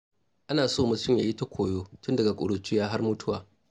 Ana so mutum yayi ta koyo tun daga ƙuruciya har mutuwa.